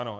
Ano.